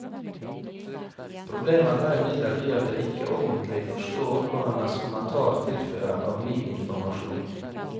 Problemet er imidlertid at jeg ikke ordentlig forstår hva hennes kommentar tilfører av ny informasjon.